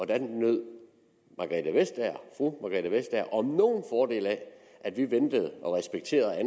der nød fru margrethe vestager om af at vi ventede og respekterede og